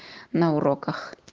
на уроках